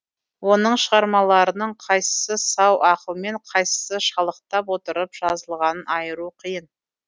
оның шығармаларының қайсысы сау ақылмен қайсысы шалықтап отырып жазылғанын айыру қиын